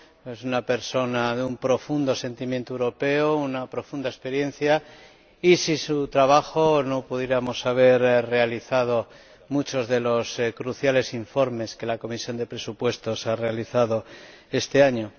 Es una persona de un profundo sentimiento europeo, de una profunda experiencia, y sin su trabajo no hubiéramos podido elaborar muchos de los cruciales informes que la Comisión de Presupuestos ha realizado este año.